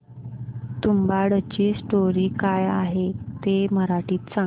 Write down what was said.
तुंबाडची स्टोरी काय आहे ते मराठीत सांग